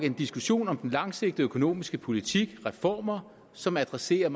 en diskussion om den langsigtede økonomiske politik reformer som adresserer